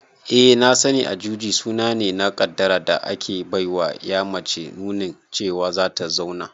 Eh na sani, Ajuji suna ne na kaddara da ake baiwa ƴa mace nunin cewa zata zauna